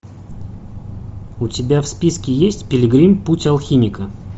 у тебя в списке есть пилигрим путь алхимика